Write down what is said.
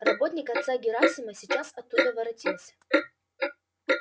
работник отца герасима сейчас оттуда воротился